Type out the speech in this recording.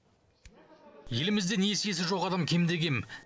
елімізде несиесі жоқ адам кем де кем